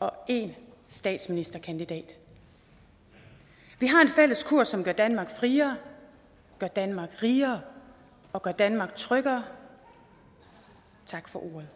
og én statsministerkandidat vi har en fælles kurs som gør danmark friere gør danmark rigere og gør danmark tryggere tak for ordet